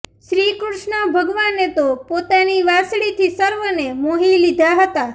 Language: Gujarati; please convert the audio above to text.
શ્રીકૃષ્ણ ભગવાને તો પોતાની વાંસળીથી સર્વેને મોહી લીધા હતાં